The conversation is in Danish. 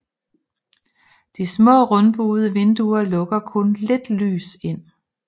De smà rundbuede vinduer lukker kun lidt lys ind